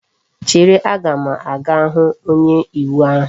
Chere! a ga m aga hu onye iwu ahu!